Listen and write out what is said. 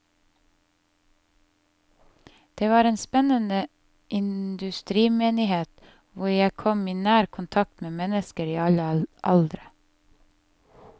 Det var en spennende industrimenighet, hvor jeg kom i nær kontakt med mennesker i alle aldre.